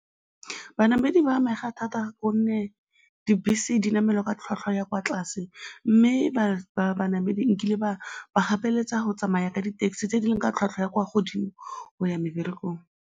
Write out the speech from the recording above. Banamedi ba amega thata gonne dibese di namelwa ka tlhwatlhwa ya kwa tlase mme banamedi nkile ba gapeletsa go tsamaya ka di-taxi tse di leng ka tlhwatlhwa ya kwa godimo go ya meberekong.